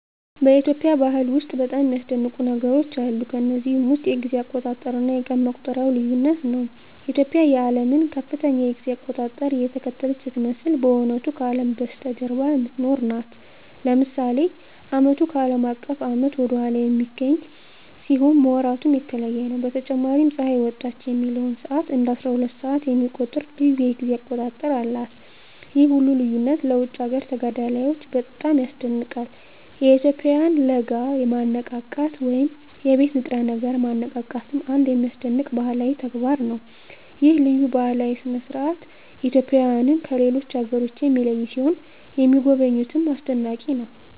በኢትዮጵያ ባህል ውስጥ በጣም የሚያስደንቁ ነገሮች አሉ። ከነዚህም ውስጥ የጊዜ አቆጣጠር እና የቀን መቁጠሪያው ልዩነት ነው። ኢትዮጵያ የዓለምን ከፍተኛ የጊዜ አቆጣጠር እየተከተለች ስትመስል በእውነቱ ከአለም በስተጀርባ የምትኖር ናት። ለምሳሌ ዓመቱ ከአለም አቀፍ ዓመት ወደ ኋላ በሚገኝ ሲሆን ወራቱም የተለየ ነው። በተጨማሪም ፀሐይ ወጣች የሚለውን ሰዓት እንደ አስራሁለት ሰዓት የሚቆጥር ልዩ የጊዜ አቆጣጠር አላት። ይህ ሁሉ ልዩነት ለውጭ አገር ተጋዳላዮች በጣም ያስደንቃል። የኢትዮጵያውያን ለጋ ማነቃቃት ወይም የቤት ንጥረ ነገር ማነቃቃትም አንድ የሚያስደንቅ ባህላዊ ተግባር ነው። ይህ ልዩ ባህላዊ ሥርዓት ኢትዮጵያውያንን ከሌሎች አገሮች የሚለይ ሲሆን ለሚጎበኙትም አስደናቂ ነው።